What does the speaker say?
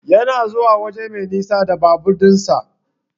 Yana zuwa waje mai nisa da babur din sa.